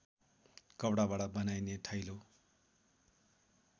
कपडाबाट बनाइने थैलो